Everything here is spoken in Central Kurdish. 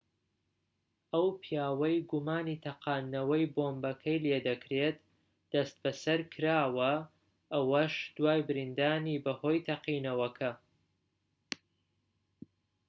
ئەو پیاوەی گومانی تەقاندنەوەی بۆمبەکەی لێدەکرێت دەستبەسەرکراوە ئەوەش دوای برینداربوونی بەهۆی تەقینەوەکە